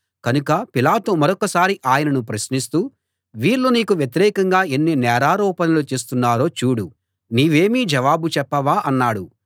కనుక పిలాతు మరొకసారి ఆయనను ప్రశ్నిస్తూ వీళ్ళు నీకు వ్యతిరేకంగా ఎన్ని నేరారోపణలు చేస్తున్నారో చూడు నీవేమీ జవాబు చెప్పవా అన్నాడు